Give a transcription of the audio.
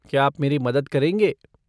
क्या आप मेरी मदद करेंगे?